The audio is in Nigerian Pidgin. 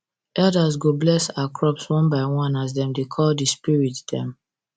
elders go bless our crops one by one as dem dey call the spirit dem